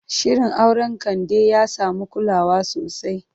Shirin auren Kande ya samu kulawa sosai.